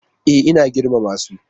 E, ina girmama su.